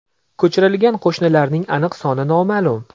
Ko‘chirilgan qo‘shinlarning aniq soni noma’lum.